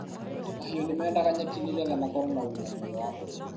mahiũ ni mendaga nyeki nigetha makorũo na ũgima mwega wa mwĩrĩ.